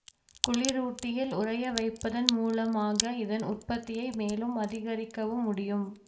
குளிரூட்டியில் உறைய வைப்பதன் மூலமாக இதன் உற்பத்தியை மேலும் அதிகரிக்கவும் முடியும்